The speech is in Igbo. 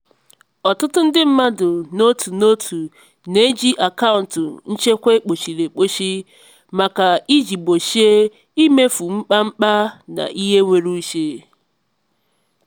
ọtụtụ ndị mmadụ n'otu n'otu na-eji akaụntụ nchekwa ekpochiri ekpochi maka iji gbochie imefu mkpamkpa na ihe nwere uche.